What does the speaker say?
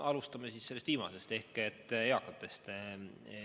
Alustame sellest viimasest ehk eakatest.